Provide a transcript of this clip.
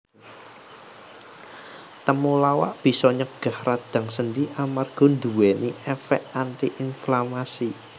Temulawak bisa nyegah radang sendi amarga nduwèni èfèk anti inflamasi